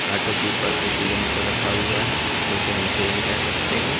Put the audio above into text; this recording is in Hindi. ऑटो के ऊपर एक यंत्र रखा हुआ है इसे हम क्रेन कह सकते हैं।